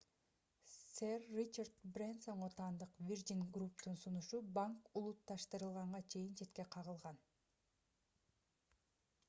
сэр ричард брэнсонго таандык virgin group’тун сунушу банк улутташтырылганга чейин четке кагылган